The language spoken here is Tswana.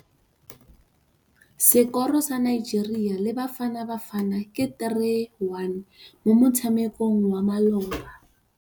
Sekôrô sa Nigeria le Bafanabafana ke 3-1 mo motshamekong wa malôba.